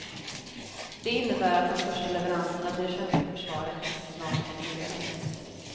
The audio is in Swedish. Det innebär att de första leveranserna till det svenska försvaret snart kan inledas.